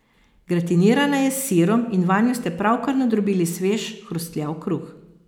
Gratinirana je s sirom in vanjo ste pravkar nadrobili svež, hrustljav kruh.